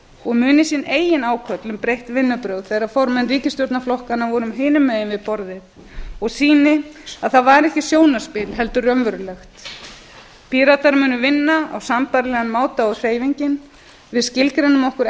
og muni sína eigin ákvörðun um breytt vinnubrögð þegar formenn ríkisstjórnarflokkanna voru hinum megin við borðið og sýni að það var ekki sjónarspil heldur raunverulegt mönnum vinna á sambærilegan máta og hreyfingin við skilgreinum okkur